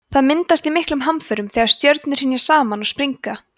það myndast í miklum hamförum þegar stjörnur hrynja saman og springa